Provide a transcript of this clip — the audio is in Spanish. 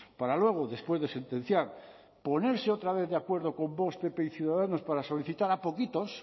para luego después de sentenciar ponerse otra vez de acuerdo con vox pp y ciudadanos para solicitar a poquitos